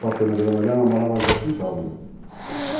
Pasteur, na Vila Malha, namorava a Joaquim Tavora.